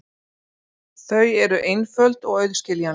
Þau eru einföld og auðskiljanleg.